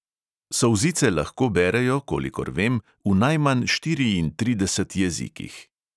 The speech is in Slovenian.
Solzice lahko berejo, kolikor vem, v najmanj štiriintrideset jezikih.